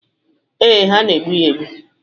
Ee, ha na-egbu ya egbu.